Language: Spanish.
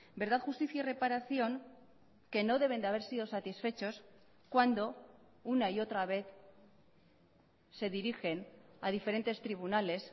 verdad justicia y reparación que no deben de haber sido satisfechos cuando una y otra vez se dirigen a diferentes tribunales